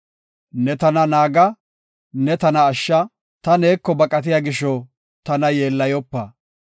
Ne tana naaga; ne tana ashsha; ta neeko baqatiya gisho tana yeellayopa.